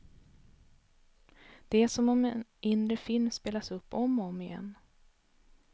Det är som om en inre film spelas upp om och om igen.